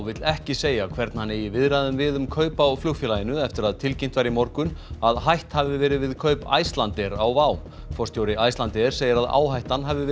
vill ekki segja hvern hann eigi í viðræðum við um kaup á flugfélaginu eftir að tilkynnt var í morgun að hætt hafi verið við kaup Icelandair á WOW forstjóri Icelandair segir að áhættan hafi